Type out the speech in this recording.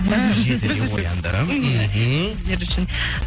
і жетіде ояндым мхм сіздер үшін